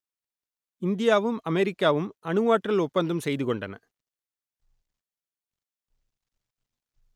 இந்தியாவும் அமெரிக்காவும் அணுவாற்றல் ஒப்பந்தம் செய்து கொண்டன